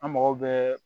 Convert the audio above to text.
An mago bɛ